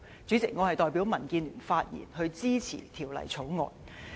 主席，我代表民建聯發言支持《條例草案》。